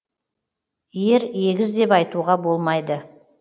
ер егіз деп айтуға болмайды